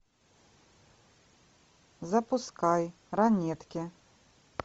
запускай ранетки